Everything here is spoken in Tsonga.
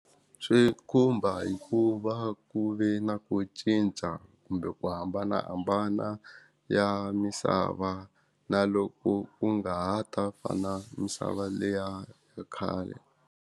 Swi khumba hikuva ku ve na ku cinca kumbe ku hambanahambana ya misava na loko ku nga ha ta fana misava leya khale.